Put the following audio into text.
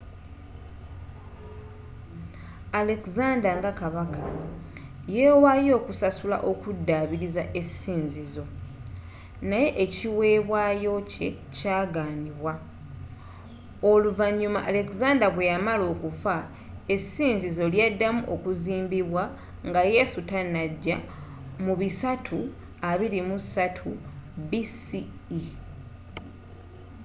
alexander nga kabaka yewaayo okusasula okudaabiriza essinzizo naye ekiwebwayo kye kyagaanibwa oluvanyuma alexander bweyamala okufa essinzizo lyaddamu okuzimbibwa nga yesu tanajja mu 323 bce